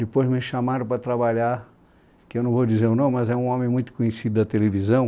Depois me chamaram para trabalhar, que eu não vou dizer o nome, mas é um homem muito conhecido da televisão.